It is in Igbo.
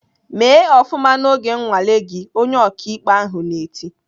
"Mee ofụma n'oge nnwale gị!" Onye ọkaikpe ahụ na-eti.